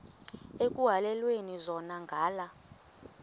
ekuhhalelwana zona ngala